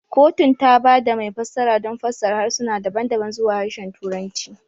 Kotun ta ba da mai fassara don fassara harsuna daban-daban zuwa Harshen Turanci.